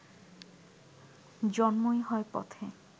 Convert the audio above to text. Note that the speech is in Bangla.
জন্মই হয় পথে